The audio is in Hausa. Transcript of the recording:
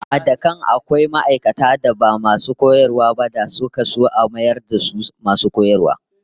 Ehh, da can akwai ma'aikatan da ba masu koyarwa ba da suka so a mayar da su masu koyarwa